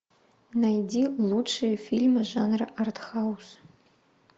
найди лучшие фильмы жанра артхаус